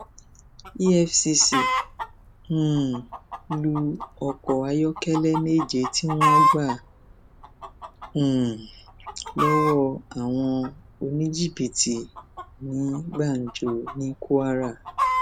efcc um lu ọkọ ayọkẹlẹ méje tí wọn gbà um lọwọ àwọn oníjìbìtì ní gbàǹjo ní kwara